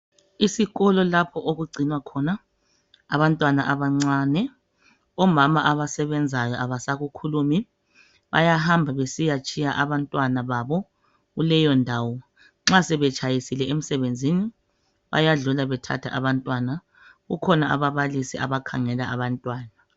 Isikolo lapho okugcinwa khona abantwana abancane omama abasebenzayo abasakukhulumi bayahamba besitshiya abantwana babo kuleyondawo nxa sebetshayisile emsebenzini bayadlula bethatha abantwana kukhona ababalisi abakhangela abantwana.